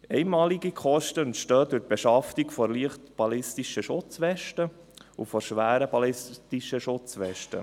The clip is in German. Einmalige Kosten entstehen durch die Beschaffung der leichten ballistischen Schutzweste und der schweren ballistischen Schutzweste.